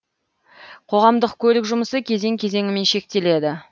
қоғамдық көлік жұмысы кезең кезеңмен шектеледі